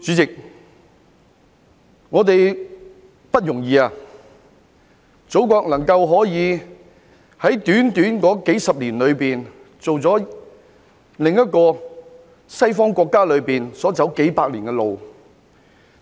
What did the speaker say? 主席，我們很不容易，祖國能夠在短短數十年間走過其他西方國家走了數百年的路，